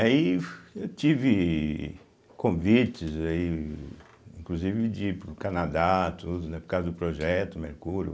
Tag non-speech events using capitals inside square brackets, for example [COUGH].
[UNINTELLIGIBLE] eu tive convites aí, inclusive de ir para o Canadá, tudo, né, por causa do Projeto Mercúrio.